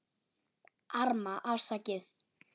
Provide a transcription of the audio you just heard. Arma: Afsakið